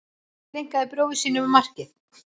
Tileinkaði bróður sínum markið